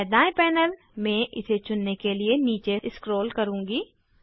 मैं दायें पैनल में इसे चुनने के लिए नीचे स्क्रॉल करुँगी